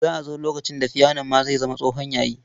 Za a zo lokacin da fiyanon ma zai zama tsohon yayi.